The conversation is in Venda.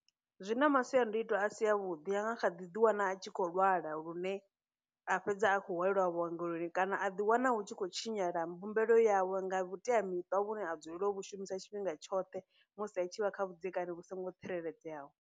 Zwi na masiandoitwa a si a vhuḓ, i anga kha ḓi ḓi wana a tshi khou lwala lune a fhedza a khou hwalelwa vhuongeloni kana a ḓi wana hu tshi khou tshinyala mbumbelo yawe nga vhuteamiṱa vhune ha dzulela u vhu shumisa tshifhinga tshoṱhe musi a tshi vha kha vhudzekani vhu songo tsireledzeaho.